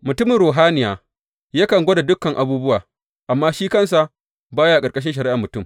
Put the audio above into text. Mutumin ruhaniya yakan gwada dukan abubuwa, amma shi kansa ba ya ƙarƙashin shari’ar mutum.